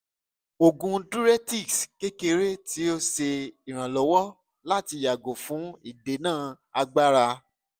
oògùn diuretics kekere ti o ṣe iranlọwọ lati yago fun idena agbara